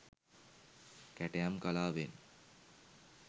කැටයම් කලාවෙන්